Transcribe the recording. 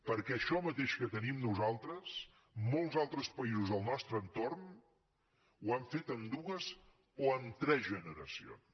perquè això mateix que tenim nosaltres molts altres països del nostre entorn ho han fet en dues o en tres generacions